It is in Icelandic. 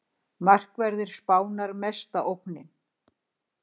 Markverðir Spánar mesta ógnin